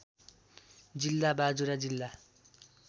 जिल्ला बाजुरा जिल्ला